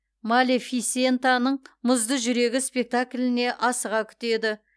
малефисентаның мұзды жүрегі спектакліне асыға күтеді